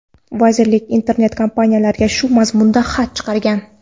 Vazirlik internet-kompaniyalarga shu mazmunda xat chiqargan.